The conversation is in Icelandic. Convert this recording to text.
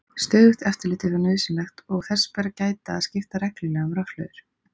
Stöðugt eftirlit er þó nauðsynlegt og þess ber að gæta að skipta reglulega um rafhlöður.